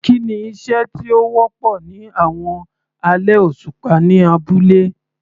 Kí ni iṣẹ́ tí ó wọ́pọ̀ ní àwọn alẹ́ òṣùpá ní abúlé?